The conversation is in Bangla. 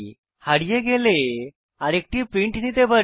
হারিয়ে গেলে আরেকটি প্রিন্ট নিতে পারি